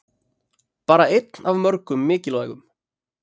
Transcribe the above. Bara einn af mörgum mikilvægum